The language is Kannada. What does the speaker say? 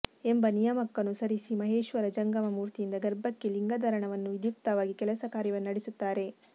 ಎಂಬ ನಿಯಮಕ್ಕನು ಸರಿಸಿ ಮಹೇಶ್ವರ ಜಂಗಮ ಮೂರ್ತಿಯಿಂದ ಗರ್ಭಕ್ಕೆ ಲಿಂಗಧಾರಣವನ್ನು ವಿದ್ಯುಕ್ತವಾಗಿ ಕೆಲಸ ಕಾರ್ಯವನ್ನು ನಡೆಸುತ್ತಾರೆ